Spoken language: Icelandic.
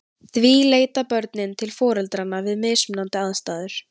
Því leita börnin til foreldranna við mismunandi aðstæður.